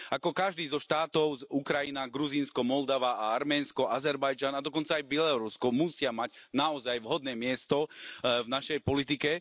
Ako každý zo štátov Ukrajina, Gruzínsko, Moldava a Arménsko, Azerbajdžan, a dokonca aj Bielorusko musia mať naozaj vhodné miesto v našej politike.